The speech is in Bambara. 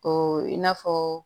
Ko i n'a fɔ